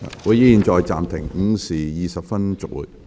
會議現在暫停，下午5時20分恢復。